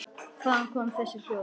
Hvaðan koma þessi hljóð?